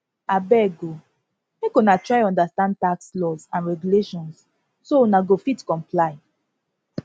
abeg o make una try understand tax laws and regulations so una go fit comply